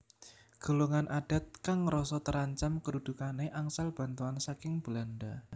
Golongan adat kang ngrasa terancam kedudukane angsal bantuan saking Belanda